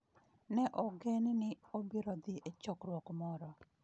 Ne ogen ni obiro dhi e chokruok moro.